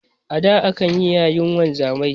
A da akayi yayin wanzamai